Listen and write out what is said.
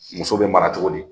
Muso bɛ mara cogo di?